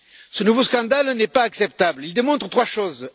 Ce nouveau scandale n'est pas acceptable, il démontre trois choses.